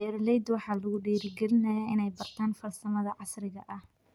Beeralayda waxaa lagu dhiirigelinayaa inay bartaan farsamada casriga ah.